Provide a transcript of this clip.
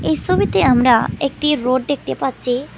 এই সবিতে আমরা একটি রোড দেখতে পাচ্ছি।